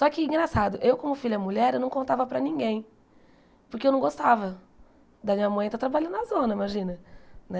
Só que, engraçado, eu como filha mulher eu não contava para ninguém, porque eu não gostava da minha mãe estar trabalhando na zona, imagina, né?